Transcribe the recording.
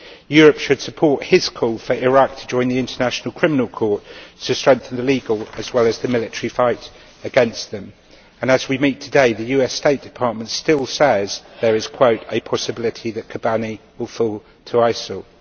Europe should support his call for Iraq to join the International Criminal Court to strengthen the legal, as well as the military, fight against them, and as we meet today the US State Department still says there is a possibility that Kobane will fall to ISIL'.